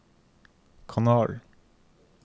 kanal